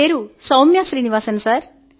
నా పేరు సౌమ్య శ్రీనివాసన్